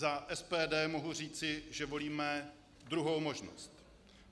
Za SPD mohu říci, že volíme druhou možnost.